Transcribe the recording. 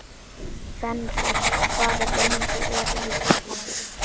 Fenrir, hvað er lengi opið í Blómalandi?